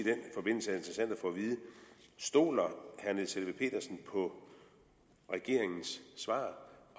vide stoler herre niels helveg petersen på regeringens svar